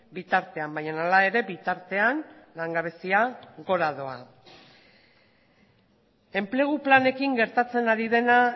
bitartean baina hala ere bitartean langabezia gora doa enplegu planekin gertatzen ari dena